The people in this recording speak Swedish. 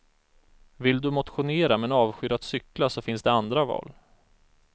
Vill du motionera men avskyr att cykla så finns det andra val.